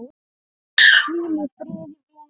Hvíl í friði, vinur minn.